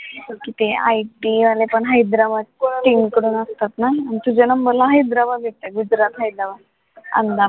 IPL पण Hyderabad team कडून असतात ना तुझ्या number ला हैदराबाद येतंय गुजरात side ला अहमदाबाद